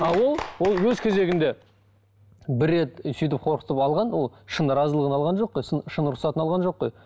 а ол ол өз кезігінде бір рет сөйтіп қорқытып алған ол шын разылығын алған жоқ қой сын шын рұқсатын алған жоқ қой